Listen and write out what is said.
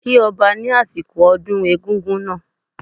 Kí Ọba ni asiko ọdún egungun náà